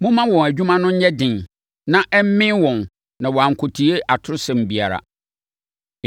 Momma wɔn adwuma no mu nyɛ den, na ɛmmee wɔn na wɔankɔtie atosɛm biara.”